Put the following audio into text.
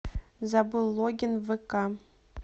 забыл логин в вк